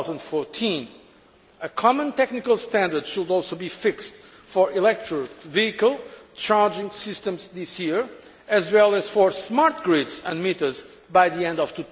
2014. A common technical standard should also be fixed for electric vehicle charging systems this year, as well as for smart grids and meters by the end of